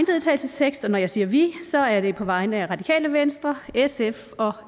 vedtagelse og når jeg siger vi er det på vegne af radikale venstre sf og